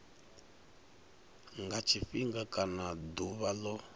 nga tshifhinga kana ḓuvha ḽo